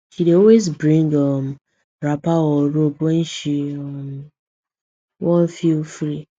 she dey always bring um wrapper or robe when she um want feel free